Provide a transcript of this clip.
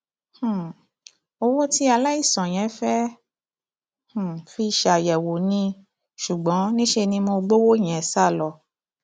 um owó tí aláìsàn yẹn fẹẹ um fi ṣàyẹwò ní ṣùgbọn níṣẹ ni mo gbowó yẹn sá lọ